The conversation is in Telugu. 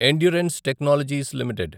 endurance technologies limited